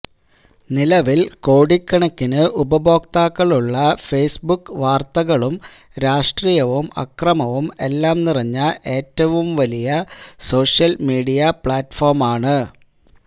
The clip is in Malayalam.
നിലവില് കോടിക്കണക്കിന് ഉപഭോക്താക്കളുള്ള ഫെയ്സ്ബുക്ക് വാര്ത്തകളും രാഷ്ട്രീയവും അക്രമവും എല്ലാം നിറഞ്ഞ ഏറ്റവും വലിയ സോഷ്യല് മീഡിയ പ്ലാറ്റ്ഫോമാണ്